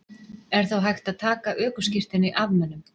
Er þá hægt að taka ökuskírteini af mönnum?